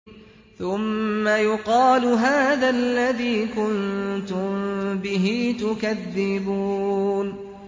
ثُمَّ يُقَالُ هَٰذَا الَّذِي كُنتُم بِهِ تُكَذِّبُونَ